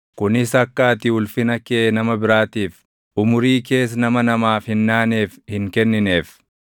kunis akka ati ulfina kee nama biraatiif, umurii kees nama namaaf hin naaneef hin kennineef;